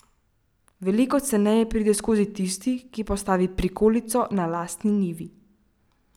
Veliko ceneje pride skozi tisti, ki postavi prikolico na lastni njivi.